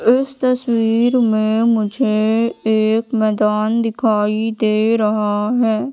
इस तस्वीर में मुझे एक मैदान दिखाई दे रहा हैं।